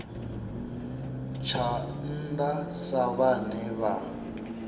tsha nnda sa vhane vha